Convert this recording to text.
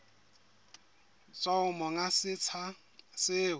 tswa ho monga setsha seo